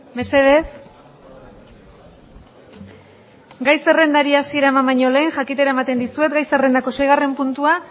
mesedez gai zerrendari hasiera eman baino lehen jakitera ematen dizuet gai zerrendako seigarren puntua